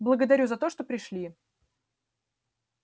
благодарю за то что пришли